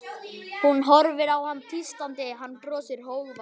Hún horfir á hann tístandi, hann brosir, hógvær.